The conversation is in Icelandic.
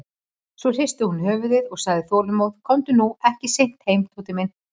Svo hristi hún höfuðið og sagði þolinmóð: Komdu nú ekki seint heim, Tóti minn.